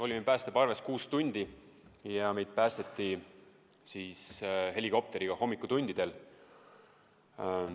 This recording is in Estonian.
Olime päästeparves kuus tundi ja meid päästeti helikopteriga hommikutundidel.